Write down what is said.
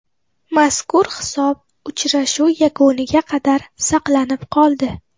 Mazkur hisob uchrashuv yakuniga qadar saqlanib qoldi.